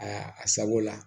Aa a sago la